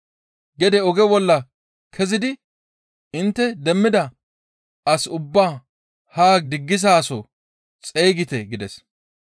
Gede oge bolla kezidi intte demmida as ubbaa haa diggisaso xeygite› gides.